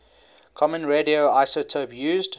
common radioisotope used